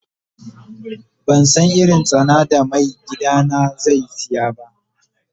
Ban san irin tsana da mai gida na zai siya ba.